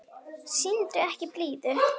Sýndu ekki blíðu.